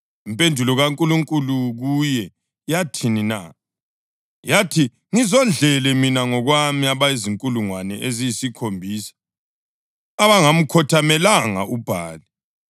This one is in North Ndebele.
Impendulo kaNkulunkulu kuye yathini na? Yathi, “Ngizigodlele mina ngokwami abazinkulungwane eziyisikhombisa abangamkhothamelanga uBhali.” + 11.4 1 Amakhosi 19.18